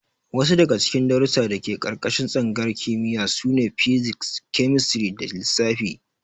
Wasu daga cikin darussan da ke ƙarƙashin tsangayar kimiyya sune: Physics, Chemistry da Lissafi.